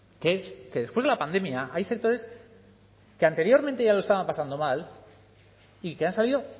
que es que después de la pandemia hay sectores que anteriormente ya lo estaban pasando mal y que han salido